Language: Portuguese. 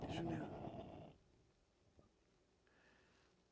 Deixa eu olhar